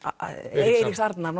Eiríks Arnar